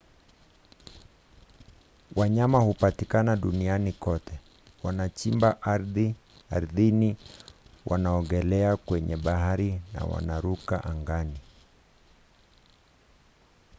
wanyama hupatikana duniani kote. wanachimba ardhini wanaogelea kwenye bahari na wanaruka angani